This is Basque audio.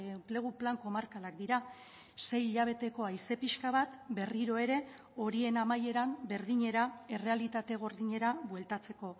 enplegu plan komarkalak dira sei hilabeteko haize pixka bat berriro ere horien amaieran berdinera errealitate gordinera bueltatzeko